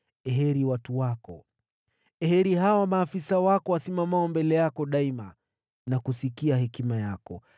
Heri watu wako! Heri hawa maafisa wako wasimamao mbele yako daima na kusikia hekima yako!